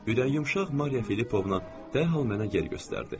Ürəyi yumşaq Mariya Filippovna dərhal mənə yer göstərdi.